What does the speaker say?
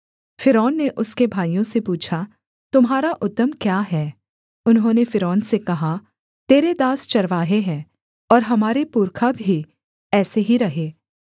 फ़िरौन ने उसके भाइयों से पूछा तुम्हारा उद्यम क्या है उन्होंने फ़िरौन से कहा तेरे दास चरवाहे हैं और हमारे पुरखा भी ऐसे ही रहे